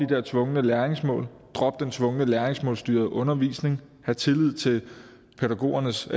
der tvungne læringsmål drop den tvungne læringsmålsstyrede undervisning hav tillid til pædagogernes